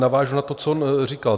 Navážu na to, co on říkal.